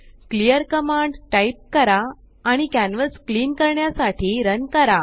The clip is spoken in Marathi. क्लिअर कमांड टाइप करा आणि कॅन्वस क्लीन करण्यासाठी रन करा